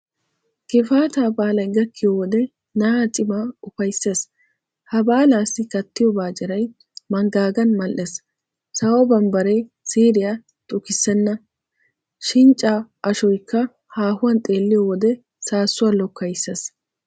Gifaataa baalay gakkiyo wode na'aa cimaa ufayssees. Ha baalaassi kattiyo baacciray manggaagan mal"ees, sawo bambbaree siiriya xukkeesinne Shinccaa ashoykka haahuwan xeelliyo wode saassuwa lokkayissees.